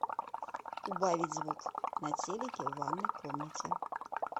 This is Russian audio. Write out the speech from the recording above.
убавить звук на телике в ванной комнате